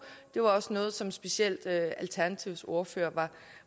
det var også noget som specielt alternativets ordfører